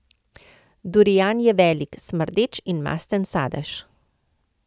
Durian je velik, smrdeč in masten sadež.